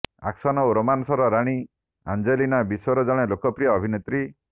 action ଓ ରୋମାନ୍ସର ରାଣୀ ଆଞ୍ଜେଲିନା ବିଶ୍ବର ଜଣେ ଲୋକପ୍ରିୟ ଅଭିନେତ୍ରୀ